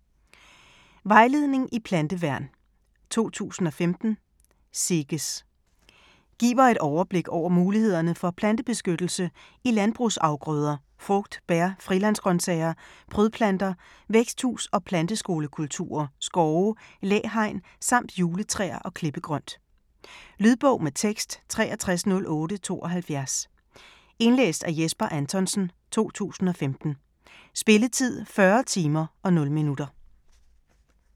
Vejledning i planteværn: 2015: SEGES Giver et overblik over mulighederne for plantebeskyttelse i landbrugsafgrøder, frugt, bær, frilandsgrønsager, prydplanter, væksthus- og planteskolekulturer, skove, læhegn samt juletræer og klippegrønt. Lydbog med tekst 630872 Indlæst af Jesper Anthonsen, 2015. Spilletid: 40 timer, 0 minutter.